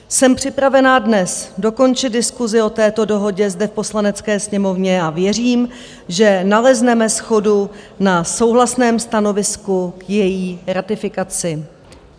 Jsem připravena dnes dokončit diskusi o této dohodě zde v Poslanecké sněmovně a věřím, že nalezneme shodu na souhlasném stanovisku k její ratifikaci.